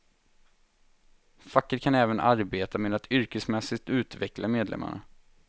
Facket kan även arbeta med att yrkesmässigt utveckla medlemmarna.